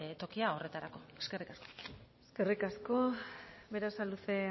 tokia horretarako eskerrik asko eskerrik asko berasaluze